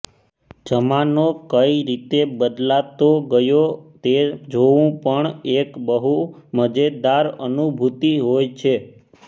જમાનો કઇ રીતે બદલાતો ગયો તે જોવું પણ એક બહુ મજેદાર અનુભૂતિ હોય છે